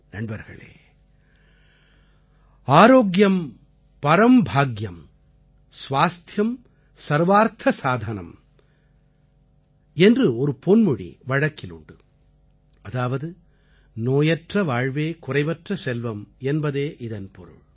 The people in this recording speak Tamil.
நண்பர்களே आर्योग्यम परं भागय्म स्वास्थ्यं सर्वार्थ साधनं ஆரோக்கியம் பரம் பாக்யம் ஸ்வாஸ்த்யம் சர்வார்த்த சாதனம் என்று ஒரு பொன்மொழி வழக்கில் உண்டு அதாவது நோயற்ற வாழ்வே குறைவற்ற செல்வம் என்பதே இதன் பொருள்